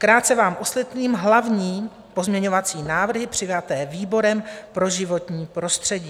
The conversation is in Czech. Krátce vám osvětlím hlavní pozměňovací návrhy přijaté výborem pro životní prostředí.